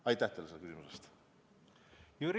Aitäh teile selle küsimuse eest!